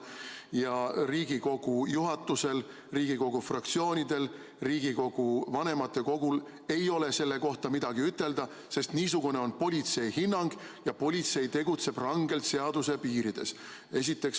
Ja kas Riigikogu juhatusel, Riigikogu fraktsioonidel, Riigikogu vanematekogul ei ole selle kohta midagi ütelda, sest niisugune on politsei hinnang ja politsei tegutseb rangelt seaduse piirides?